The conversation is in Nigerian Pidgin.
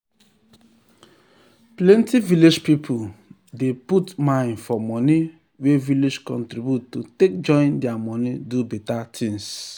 plenty village people dey dey put mind for money wey village contribute to take join their money do better things